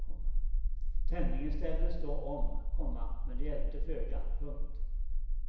Tändningen ställdes då om, komma men det hjälpte föga. punkt